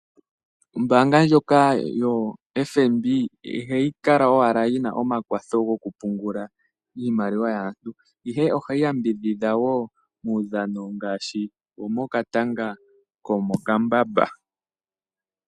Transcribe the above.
Ombaanga ndjoka yoFNB ihayi kala owala yina omakwatho gokupungula iimaliwa yaantu, ihe ohayi yambidhidha muudhano ngaashi wokatanga komokambamba.